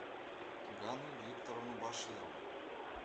ганну викторовну баширову